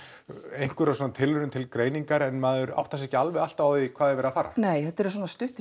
einhverjum svona tilraunum til greiningar en maður áttar sig ekki alveg alltaf á því hvert er verið að fara nei þetta eru svona stuttir